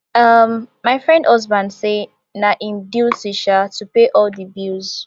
um my friend husband say na im duty um to pay all di bills